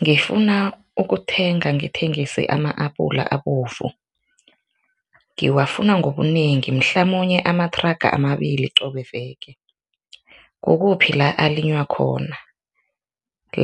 Ngifuna ukuthenga ngithengisa ama-apula abovu, ngiwafuna ngobunengi mhlamunye amathraga amabili qobe veke, kukuphi la alinywa khona